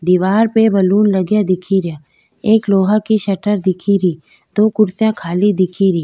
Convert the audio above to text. दीवार पे बैलून लगया दिखे रिया एक लोहा की शटर दिखेरी दो कुर्सिया खाली दिखे री।